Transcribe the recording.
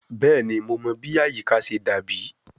Bẹẹni Mo mọ bi ayika ṣe dabi